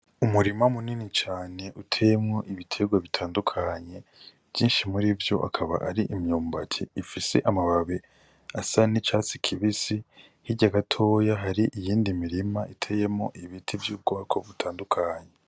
Umurima munini cane utemwo ibiterwa bitandukanye vyinshi muri vyo akaba ari imyumbati ifise amababe asa ni catsi kibisi hirya agatoya hari iyindi mirima iteyemo ibiti vy'ubwako butandukanye.